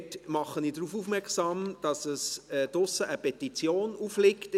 Dabei mache ich darauf aufmerksam, dass draussen in der Wandelhalle eine Petition aufliegt.